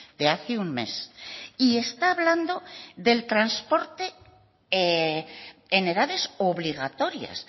de hace un mes y está hablando del transporte en edades obligatorias